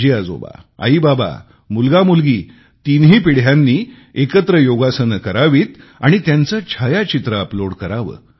आजीआजोबा आईबाबा मुलगामुलगी तिन्ही पिढ्यांनी एकत्र योगासने करावीत व त्याचे छायाचित्र अपलोड करावे